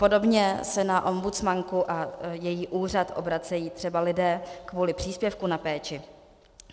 Podobně se na ombudsmanku a její úřad obracejí třeba lidé kvůli příspěvku na péči.